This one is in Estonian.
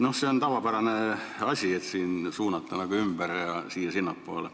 Noh, see on tavapärane asi, et raha suunatakse ümber siia-sinnapoole.